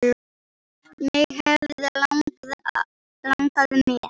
Mig hefði langað með.